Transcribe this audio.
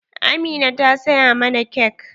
Amina ta saya mana cake.